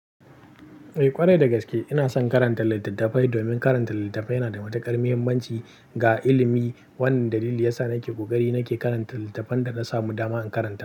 Eh ƙwarai da gaske ina son karanta littattafai domin karanta littattafai yana da matuƙar muhimmanci ga ilimi. Wannan dalili yasa nake ƙoƙari nake karanta littattafan da na samu dama in karanta.